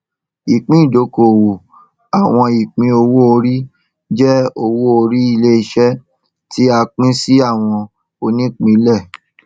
ìpín ìdókòwò àwọn ìpín owó orí jẹ owó orí iléiṣẹ tí a pín sí àwọn onípínlẹ